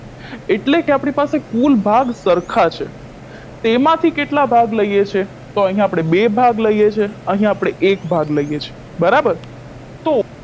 એટલે કે આપની પાસે કુલ ભાગ સરખા છે તેમાંથી કેટલા ભાગ લઈએ છે તો અહિયાં આપણે બે ભાગ લઈએ છે અહિયાં આપણે એક ભાગ લઈએ છે બરાબર તો